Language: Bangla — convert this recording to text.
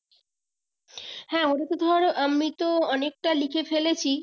হ্যাঁ ওটাটা তো ধর আমি তো অনেকটা লিখে লিখে ফেলেছি